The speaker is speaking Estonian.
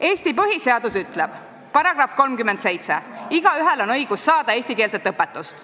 Eesti põhiseadus § 37 ütleb: "Igaühel on õigus saada eestikeelset õpetust.